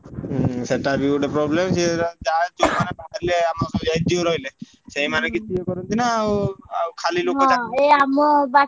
ହୁଁ ସେଟା ବି ଗୋଟେ problem ସେ ଯାହା ବାହାରିଲେ ଆମର ଯୋଉ NGO ରହିଲେ ସେଇମାନେ କିଛି ଇଏକରନ୍ତି ନା ଆଉ ଆଉ ଖାଲି ଲୋକ